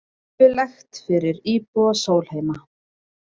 Skelfilegt fyrir íbúa Sólheima